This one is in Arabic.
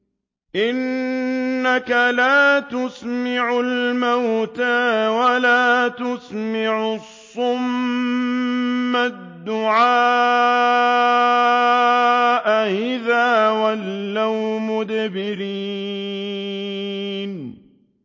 إِنَّكَ لَا تُسْمِعُ الْمَوْتَىٰ وَلَا تُسْمِعُ الصُّمَّ الدُّعَاءَ إِذَا وَلَّوْا مُدْبِرِينَ